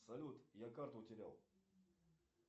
салют я карту утерял